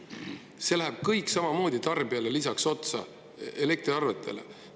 See läheb kõik tarbijate elektriarvetele otsa.